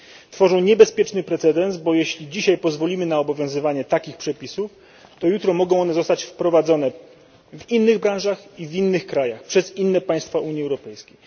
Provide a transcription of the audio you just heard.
Tworzą niebezpieczny precedens, bo jeśli dzisiaj pozwolimy na obowiązywanie takich przepisów, to jutro mogą one zostać wprowadzone w innych branżach i w innych krajach, przez inne państwa Unii Europejskiej.